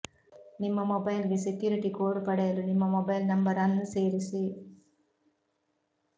ನಿಮ್ಮ ಮೊಬೈಲ್ಗೆ security code ಪಡೆಯಲು ನಿಮ್ಮ ಮೊಬೈಲ್ ನಂಬರ್ ಅನ್ನು ಸೇರಿಸಿ